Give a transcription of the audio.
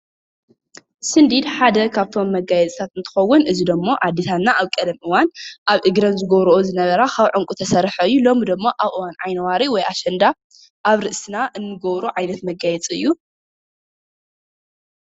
ስንዲድ ሓደ ካብቶም መጋየፂታት እንትኸውን እዚ ዶሞ አዴታትና አብ ቀደም እዋን አብ እግረን ዝገብሮኣ ዝነበራ ካብ ዕንቂ ዝተስርሕ እዩ። ሎሚ ድማ አብ እዋን ዓይኒዋሪ ወይ አሽንዳ አብ ርእስና እንገብሮ ዓይነት መጋየፂ እዩ።